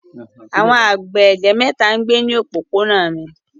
Àwọn àgbẹ̀ ègé mẹ́ta ń gbé ní òpópónà mi.